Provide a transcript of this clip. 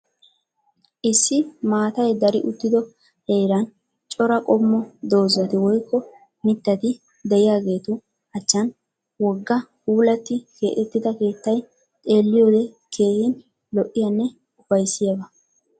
Issi maatay dari uttido heeran cora qommo doozati woyikko mittati de"iyaageetu achchaani wogga puulatti keexettida keettay xeelliyode keehin lo'iyanne upayissiyaba.